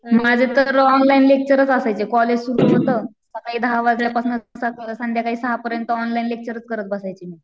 माझं तर ऑनलाईन लेक्चरच असायचे कॉलेज सुरु होतं, सकाळी दहा वाजल्यापासनं संध्याकाळी सहा पर्यंत ऑनलाईन लेक्चरच करत बसायचे मी.